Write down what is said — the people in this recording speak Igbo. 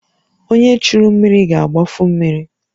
Onye churu mmiri ga-agbafu mmiri